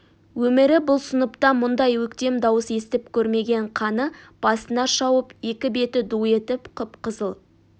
өмірі бұл сыныптан мұндай өктем дауыс естіп көрмеген қаны басына шауып екі беті ду етіп қып-қызыл